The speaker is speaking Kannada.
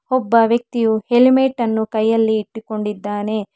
ಒಬ್ಬ ವ್ಯಕ್ತಿಯು ಹೆಲ್ಮೆಟ್ ಅನ್ನು ಕೈಯಲ್ಲಿ ಇಟ್ಟಿಕೊಂಡಿದ್ದಾನೆ.